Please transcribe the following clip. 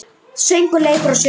Söngur, leikur og sögur.